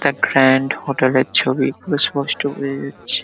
The grand hotel -এর ছবি স্পষ্ট বোঝা যাচ্ছে ।